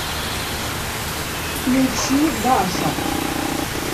включи даша